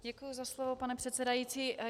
Děkuju za slovo, pane předsedající.